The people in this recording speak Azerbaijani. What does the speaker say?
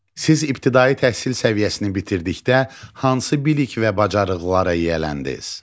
Siz ibtidai təhsil səviyyəsini bitirdikdə hansı bilik və bacarıqlara yiyələndiz?